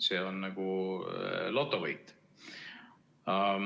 See on nagu lotovõit.